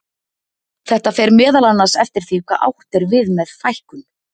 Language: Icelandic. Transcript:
Þetta fer meðal annars eftir því hvað átt er við með fækkun.